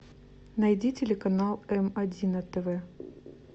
найди телеканал м один на тв